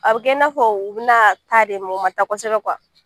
A bɛ kɛ i n'a fɔ u bɛna taa de u ma taa kosɛbɛ